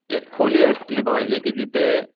एक खोली असली पाहिजे की जिथे